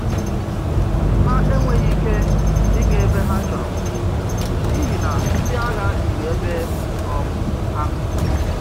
Ha enweghị ike ịga ebe ha chọrọ n’ihi na ndị agha juru ebe um ahụ.